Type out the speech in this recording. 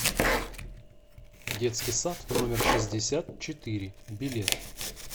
детский сад номер шестьдесят четыре билет